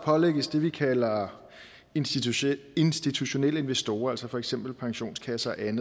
pålægges det vi kalder institutionelle institutionelle investorer altså for eksempel pensionskasser et